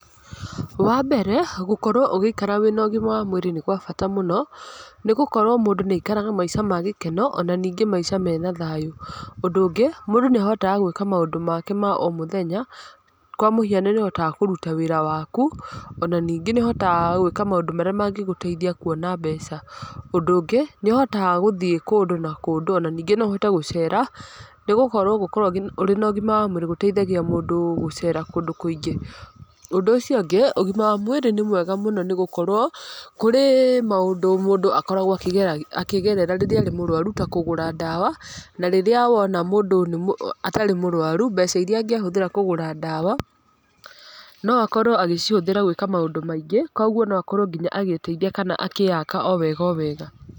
Wa mbere, gũkorwo ũgĩikara wĩna ũgima wa mwĩrĩ nĩ gwabata mũno. Nĩ gũkorwo mũndũ nĩ aikaraga maica magĩkeno, ona ningĩ maica mena thayũ. Ũndũ ũngĩ mũndũ nĩahotaga gwĩka maũndũ make ma o mũthenya, kwa mũhiano nĩ ũhotaga kũruta wĩra waku, ona ningĩ nĩ ũhotaga gwĩka maũndũ marĩa mangĩgũteithia kuona mbeca. Ũndũ ũngĩ nĩ ũhotaga gũthiĩ kũndũ, na kũndũ, ona ningĩ noũhote gũcera, nĩgũkorwo gũkorwo ũrĩ na ũgima wa mwĩrĩ gũteithagia mũndũ gũcera kũndũ kũingĩ. Ũndũ ũcio ũngĩ ũgima wa mwĩrĩ nĩ mwega mũno nĩgũkorwo kũrĩ maũndũ mũndũ akoragwo akĩge akĩgerera rĩrĩa arĩ mũrũaru ta kũgũra ndawa, na rĩrĩa wona mũndũ atarĩ mũrũaru, mbeca iria angĩhũthĩra kũgũra ndawa no akorwo agĩcihũthĩra gwĩka maũndũ maingĩ, koguo no akorwo agĩteithia kana akĩyaka o wega o wega.